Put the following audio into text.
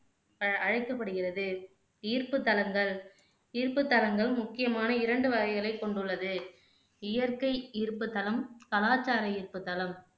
அஹ் அழைக்கப்படுகிறது ஈர்ப்பு தலங்கள் ஈர்ப்பு தலங்கள் முக்கியமான இரண்டு வகைகளை கொண்டுள்ளது இயற்கை ஈர்ப்பு தலம், கலாச்சார ஈர்ப்பு தலம்